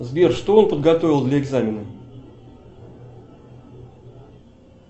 сбер что он подготовил для экзамена